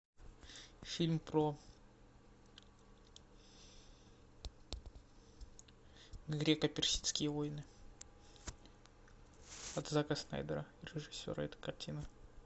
фильм про греко персидские войны от зака снайдера режиссера этой картины